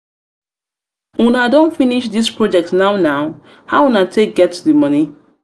una don finish this project now now? now? how una dey take get di money?